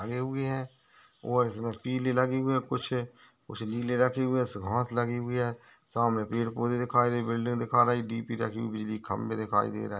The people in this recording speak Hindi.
लगे हुए है और इसमे पीले लगे हुए है कुछ उस नीले रखे हुए घास लगी हुई है सामने पेड़ पौधे दिखाई दे बिल्डिंग दिखा रही डीपी खम्बे दिखाई दे रहे।